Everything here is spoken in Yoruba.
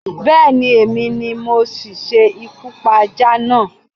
Bé̩è̩ni, èmi ni mo si s̩ekú pa ajá náà